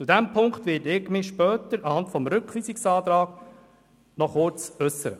Zu diesem Punkt werde ich mich später im Rahmen des Rückweisungsantrags noch kurz äussern.